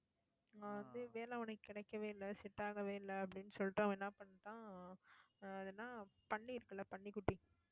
ஆஹ் வந்து வேலை அவனுக்கு கிடைக்கவே இல்லை. set ஆகவே இல்லை அப்படின்னு சொல்லிட்டு, அவன் என்ன பண்ணிட்டான் ஆஹ் அது என்ன பன்னி இருக்குல்ல பன்னிக்குட்டி